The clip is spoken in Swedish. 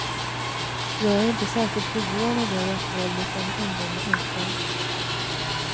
Jag är inte särskilt förvånad över att våldet bland ungdomar ökar.